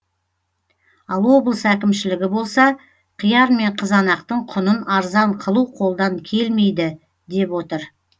ал облыс әкімшілігі болса қияр мен қызанақтың құнын арзан қылу қолдан келмейді деп отыр